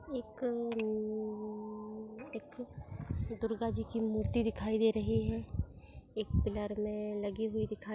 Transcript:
एक मम्म एक दुर्गा जी की मूर्ति दिखाई दे रही है। एक पिलर में लगी हुई दिखाई --